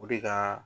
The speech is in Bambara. O de ka